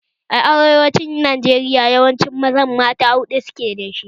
A arewacin Najeriya yawancin mazan mata huɗu suke da